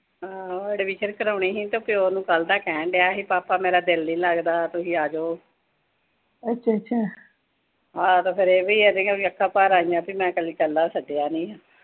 ਹਾਂ, ਵੀ ਫਿਰ ਕਰਾਉਣੀ ਸੀ। ਉਹ ਤਾਂ ਪਿਓ ਨੂੰ ਕੱਲ੍ਹ ਦਾ ਕਹਿਣ ਡਿਆ ਸੀ, ਪਾਪਾ ਮੇਰਾ ਦਿਲ ਨੀਂ ਲਗਦਾ, ਤੁਸੀਂ ਆਜੋ। ਹਾਂ ਫਿਰ ਉਹ ਵੀ ਅੱਖਾਂ ਭਰ ਆਈਆਂ, ਵੀ ਮੈਂ ਕਦੇ ਕੱਲਾ ਸੱਦਿਆ ਨੀਂ।